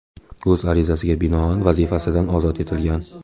o‘z arizasiga binoan vazifasidan ozod etilgan.